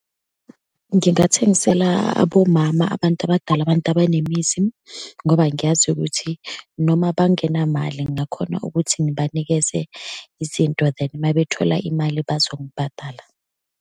Ngingathengisela abomama, abantu abadala, abantu abanemizi ngoba ngiyazi ukuthi noma bangenamali ngakhona ukuthi ngibanikeze izinto, then uma bethola imali bazongibhadala.